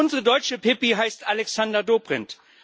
Unsere deutsche Pippi heißt Alexander Dobrindt.